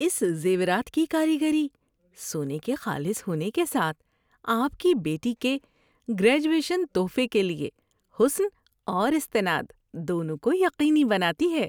اس زیورات کی کاریگری، سونے کے خالص ہونے کے ساتھ آپ کی بیٹی کے گریجویشن تحفے کے لیے حسن اور استناد دونوں کو یقینی بناتی ہے۔